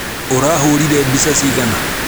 ũrahũrire mbica cigana.